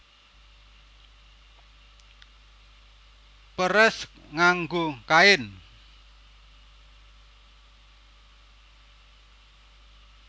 Peres nganggo kain